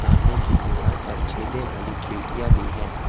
सामने की दीवाल पर छेदे वाली खिड़कियां भी हैं।